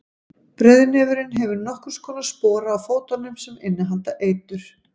breiðnefurinn hefur nokkurs konar spora á fótunum sem innihalda eitur